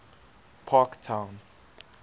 parktown